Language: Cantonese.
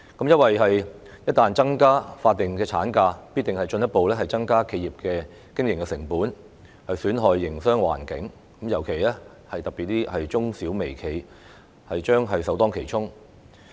由於一旦增加法定產假，必定會進一步增加企業的經營成本，損害營商環境，特別是中小微企將會首當其衝。